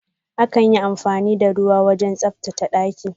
Akan yi amfani da ruwa wajen tsabtace banɗaki.